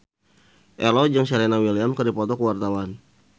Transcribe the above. Ello jeung Serena Williams keur dipoto ku wartawan